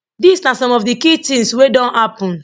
dis na some of di key tins wey don happun